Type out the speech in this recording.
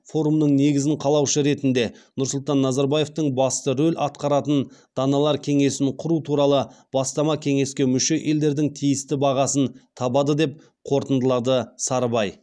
форумның негізін қалаушы ретінде нұрсұлтан назарбаевтың басты рөл атқаратын даналар кеңесін құру туралы бастама кеңеске мүше елдердің тиісті бағасын табады деп қорытындылады сарыбай